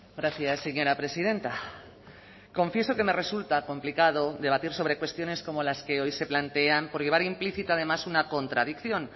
gracias señora presidenta confieso que me resulta complicado debatir sobre cuestiones como las que hoy se plantean por llevar implícita además una contradicción